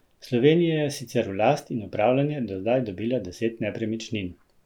Slovenija je sicer v last in upravljanje do zdaj dobila deset nepremičnin.